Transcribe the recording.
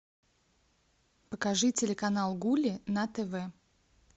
покажи телеканал гулли на тв